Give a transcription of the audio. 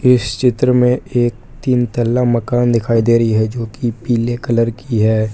इस चित्र में एक तीन तल्ला मकान दिखाई दे रही है जोकि पीले कलर की है।